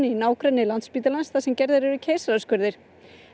í nágrenni Landspítalans sem gerir keisaraskurði